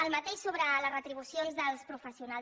el mateix sobre les retribucions dels professionals